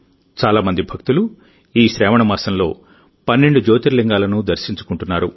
చాలా మంది భక్తులు ఈ శ్రావణ మాసంలో 12 జ్యోతిర్లింగాలను దర్శించుకుంటున్నారు